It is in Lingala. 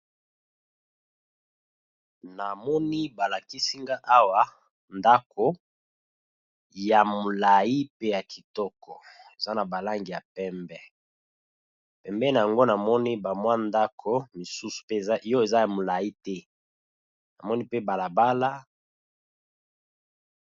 Na moni ba lakisi nga awa ndaku ya molayi pe ya kitoko, eza na bal angi ya pembe . Pembeni na yango na moni ba mwa ndaku mosusu pe oyo eza ya molayi te, na moni pe bala bala .